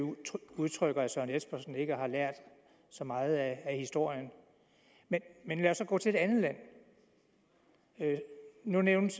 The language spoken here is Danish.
udtryk herre søren espersen ikke har lært så meget af historien men men lad os så gå til et andet land nu nævnte